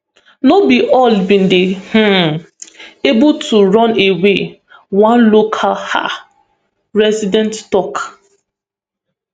no be all bin dey um able to run away one local um resident tok